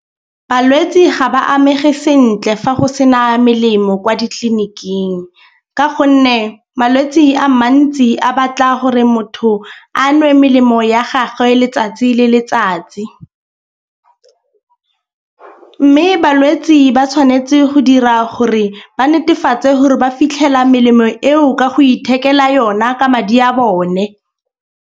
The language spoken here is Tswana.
Balwetsi ga ba amege sentle fa go sena melemo kwa ditleliniking. Ka gonne malwetse a mantsi a batla gore motho a nwe melemo ya gagwe letsatsi le le tsatsi. Mme balwetsi ba tshwanetse go dira gore ba netefatse gore ba fitlhela melemo eo ka go ithekela yona ka madi a bone.